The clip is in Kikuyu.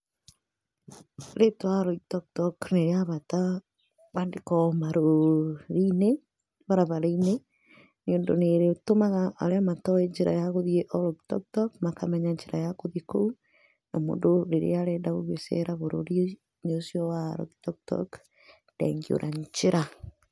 Rĩtwa Oloitoktok rĩra batara kwandĩkwo marũũri-inĩ, barabara-inĩ nĩ ũndũ nĩ rĩtũmaga arĩa matoĩ njĩra ya gũthiĩ Oloitoktok makamenya njĩra ya gũthiĩ kũu. Na mũndũ rĩrĩa arenda gũgĩcera bũrũri-inĩ ũcio wa Oloitoktok ndangĩũra njĩra.